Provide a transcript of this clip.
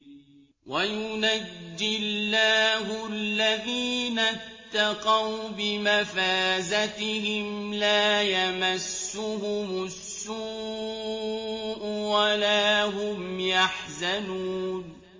وَيُنَجِّي اللَّهُ الَّذِينَ اتَّقَوْا بِمَفَازَتِهِمْ لَا يَمَسُّهُمُ السُّوءُ وَلَا هُمْ يَحْزَنُونَ